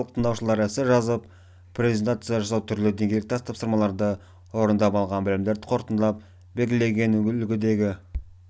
курс соңында барлық тыңдаушылар эссе жазу презентация жасау түрлі деңгейлік тест тапсырмаларды орындап алған білімдерін қорытындылап белгіленген үлгідегі